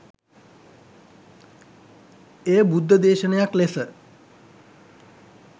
එය බුද්ධදේශනයක් ලෙස,